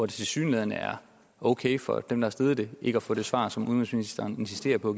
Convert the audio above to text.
tilsyneladende er okay for dem der har stillet det ikke at få det svar som udenrigsministeren insisterer på